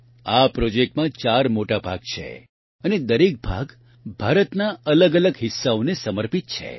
આ પ્રોજેક્ટમાં ચાર મોટા ભાગ છે અને દરેક ભાગ ભારતના અલગઅલગ હિસ્સાઓને સમર્પિત છે